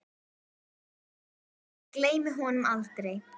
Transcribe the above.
Ég gleymi honum aldrei.